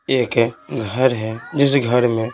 एक है घर है जिस घर में--